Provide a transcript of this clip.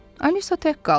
Alisa tək qaldı.